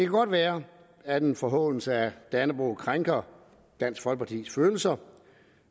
godt være at en forhånelse af dannebrog krænker dansk folkepartis følelser